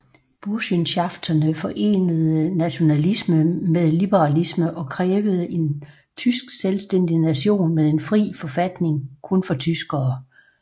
Burschenschafterne forenede nationalisme med liberalisme og krævede en tysk selvstændig nation med en fri forfatning kun for tyskere